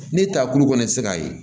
Ne taa kulu kɔni tɛ se k'a ye